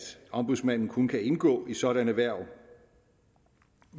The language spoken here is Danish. ombudsmanden kun kan indgå i sådanne hverv